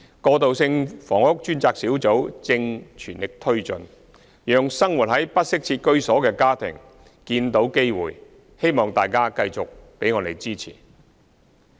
過渡性房屋專責小組正全力推進，讓生活在不適切居所的家庭見到機會，希望大家繼續給我們支持。